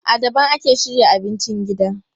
A daban ake shirya abincin gida.